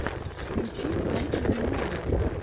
включи фэнтези муви